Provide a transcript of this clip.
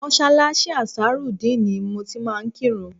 Mọ́ṣáláṣí Ansarudeen ni mo ti máa ń kírun